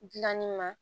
Gilanni ma